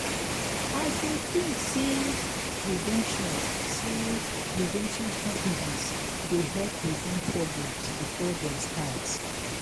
i dey think say prevention say prevention strategies dey help prevent problems before dem start.